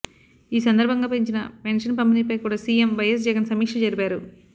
ఈ సందర్భంగా పెంచిన పెన్షన్ పంపిణీపై కూడా సీఎం వైఎస్ జగన్ సమీక్ష జరిపారు